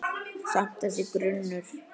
Samt- þessi grunur.